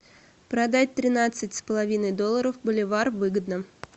продать тринадцать с половиной долларов боливар выгодно